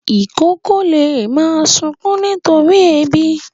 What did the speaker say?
Ìkókó lè máa sunkún nítorí ebi.